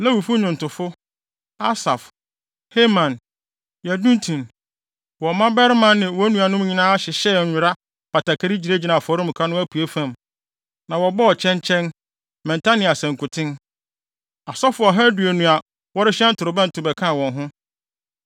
Lewifo nnwontofo, Asaf, Heman, Yedutun, wɔn mmabarima ne wɔn nuanom nyinaa hyehyɛɛ nwera batakari gyinagyinaa afɔremuka no apuei fam, na wɔbɔɔ kyɛnkyɛn, mmɛnta ne asankuten. Asɔfo ɔha aduonu a wɔrehyɛn torobɛnto bɛkaa wɔn ho.